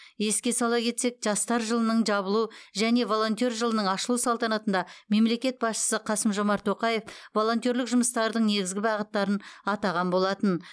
еске сала кетсек жастар жылының жабылу және волонтер жылының ашылу салтанатында мемлекет басшысы қасым жомарт тоқаев волонтерлік жұмыстардың негізгі бағыттарын атаған болатын